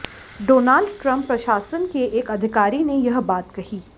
Donald Trump प्रशासन के एक अधिकारी ने यह बात कही